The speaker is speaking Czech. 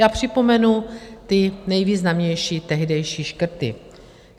Já připomenu ty nejvýznamnější tehdejší škrty.